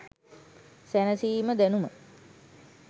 සැනසීම දැනුම